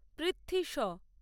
Prithvi show